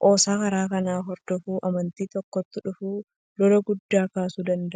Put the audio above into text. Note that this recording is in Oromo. qoosaan karaa kanaa hordofaa amantii tokkootti dhufu lola guddaa kaasuu danda'a.